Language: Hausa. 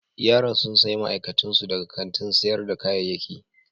Yaran sun sayi ma'aikatun su daga kantin sayar da kayayyaki.